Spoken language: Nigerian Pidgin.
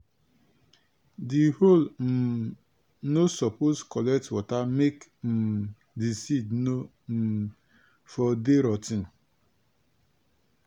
di hole um no suppose collect water make um di seed no um for dey rot ten.